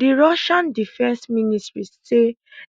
di russian defence ministry say